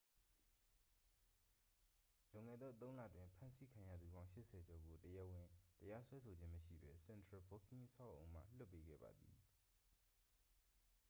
လွန်ခဲ့သော 3 လတွင် ဖမ်းဆီးခံရသူပေါင်း 80 ကျော်ကို တရားဝင်တရားစွဲဆိုခြင်းမရှိဘဲ central booking အဆောက်အအုံမှ လွှတ်ပေးခဲ့ပါသည်